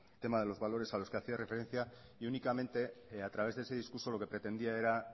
tema de los valores a los que hacía referencia y únicamente que a través de ese discurso lo que pretendía era